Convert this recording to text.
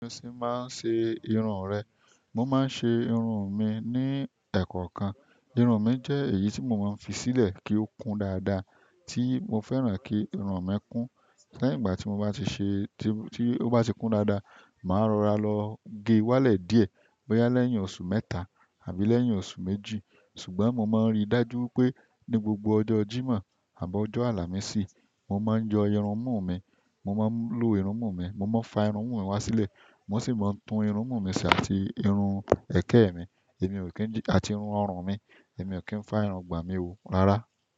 Òsè máa ń ṣe irun rẹ. Mo máa ń ṣe irun mi ní ẹ̀kọ́ kan. Irun mi jẹ́ èyí tí mo máa ń fi sílẹ̀ kí ó kún dáadáa, tí mo fẹ́ràn kí irun mi kún. Lẹ́yìn ìgbà tí mo bá ti ṣe, tí ó bá ti kún dáadáa, màá rọra lọ gé wálẹ̀ díẹ̀, bóyá lẹ́yìn oṣù mẹ́ta àbí lẹ́yìn oṣù méjì. Ṣùgbọ́n mo máa ń rí i dájú pé ní gbogbo ọjọ́ Jímọ̀ àbọ́ ọjọ́ Àlàmísì, mo máa ń yọ irun mú mi, mo máa ń lo irun mú mi, mo máa ń fa irun mú mi wá sílẹ̀. Mo sì máa ń tún irun mú mi ṣe àti irun ẹ̀kẹ́ mi, èmi ò kí ń, àti irun ọrùn mi. Èmi ò kí ń fa irun gbà mí ò, rárá.